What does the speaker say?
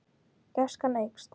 Gæskan eykst.